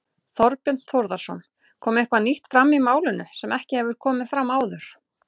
Þorbjörn Þórðarson: Kom eitthvað nýtt fram í málinu sem ekki hefur komið fram áður?